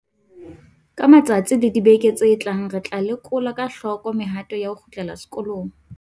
Ka matsatsi le dibeke tse tlang re tla lekola ka hloko mehato ya ho kgutlela sekolong.